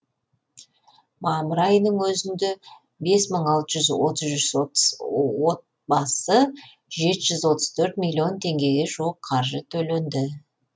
мамыр айының өзінде бес мың алты жүз отыз үш отбасы жеті жүз отыз төрт миллион теңгеге жуық қаржы төленді